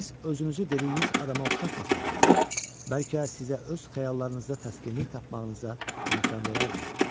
Siz özünüzü dediyiniz adama oxşatmasaydınız, bəlkə sizə öz xəyallarınızda təskinlik tapmağınıza imkan verərdi.